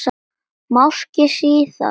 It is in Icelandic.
Máski síðar.